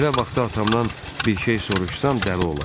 Belə vaxtda atamdan bir şey soruşsan, dəli olar.